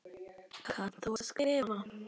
Kannt þú að skrifa?